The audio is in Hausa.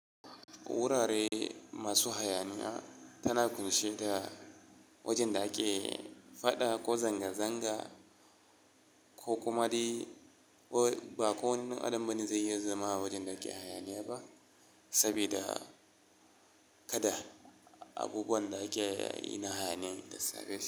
Wurare masu hayaniya tana ƙunshe da wajen da ake fada ko zanga-zanga ko kuma dai, ba ko wani ɗan adamu ba ne zai iya zama a wajen da ake hayaniya ba, sabida kada abubuwan da ake na hayaniyan ta same shi.